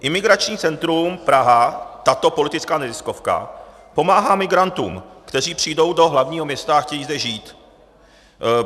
Imigrační centrum Praha, tato politická neziskovka, pomáhá migrantům, kteří přijdou do hlavního města a chtějí zde žít.